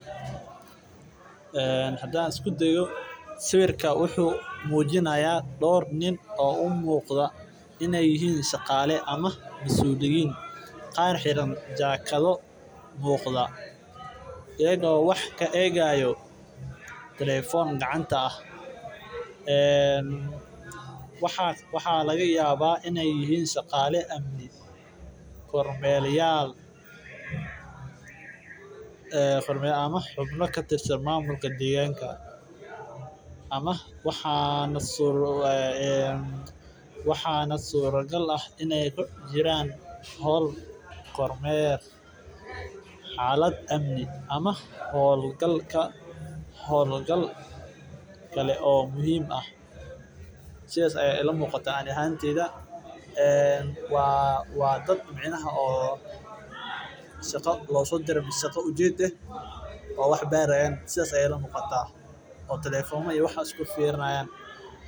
Hadaan isku dayo sawirka wuxuu mujinaaya koox dad dalinyarada waxeey ledahay faaidoyin nafaqo leh marka howshan muhiim utahay in laga qeeb qaato waxeey ii shaqala amni iyo xasilooni ayado laga taxadaayo waxaa nasuura gak ah inaay waqtigeeda xalad amni ama hool gal kale oo muhiim ah waa shaqa ujeed saas ayeey iila muuqataa.